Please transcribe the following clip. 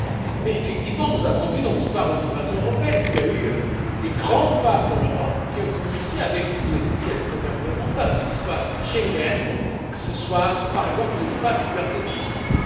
Mais nous savons que, dans l'histoire de l'intégration européenne, il y a eu des grands pas pour l'Europe qui ont commencé avec des initiatives intergouvernementales, que ce soit Schengen, que ce soit, par exemple, l'Espace de liberté et de justice.